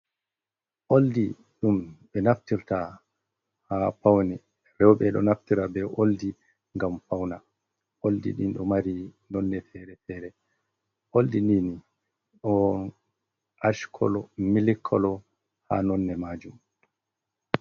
Oldi ɗum ɓe naftirta ha paune roɓe, roɓe ɗo naftira be oldi ngam fauna, oldi ɗin ɗo mari nonne fere-fere, oldi nini on ash kolo, mili kolo ha nonne majum.